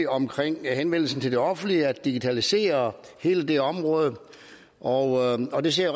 omkring henvendelsen til det offentlige nemlig at digitalisere hele det område og og det ser